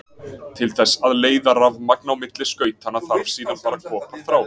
Til þess að leiða rafmagn á milli skautanna þarf síðan bara koparþráð.